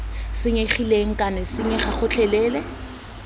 senyegileng kana d senyega gotlhelele